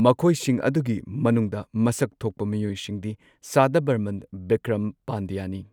ꯃꯈꯣꯏꯁꯤꯡ ꯑꯗꯨꯒꯤ ꯃꯅꯨꯡꯗ ꯃꯁꯛ ꯊꯣꯛꯄ ꯃꯤꯑꯣꯏꯁꯤꯡꯗꯤ ꯁꯥꯗꯚꯔꯃꯟ ꯕꯤꯀ꯭ꯔꯝ ꯄꯥꯟꯗ꯭ꯌꯥꯅꯤ꯫